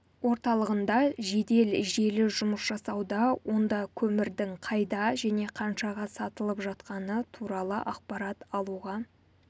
орталығында жедел желі жұмыс жасауда онда көмірдің қайда және қаншаға сатылып жатқаны туралы ақпарат алуға